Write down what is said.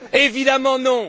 Évidemment non!